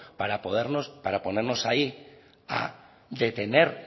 para poder ahí detener